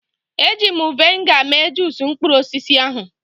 Eji m vịnịga mee juusu mkpụrụ osisi ahụ.